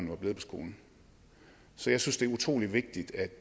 var blevet på skolen så jeg synes det er utrolig vigtigt at